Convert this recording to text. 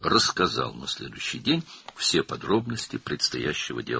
növbəti gün qarşıdakı işin bütün təfərrüatlarını danışdı.